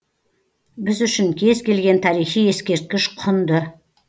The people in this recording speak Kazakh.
біз үшін кез келген тарихи ескерткіш құнды